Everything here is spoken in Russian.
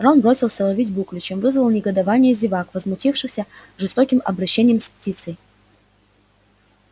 рон бросился ловить буклю чем вызвал негодование зевак возмутившихся жестоким обращением с птицей